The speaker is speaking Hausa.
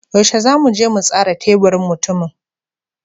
Yaushe zamu je mu tsara teburin mutumin?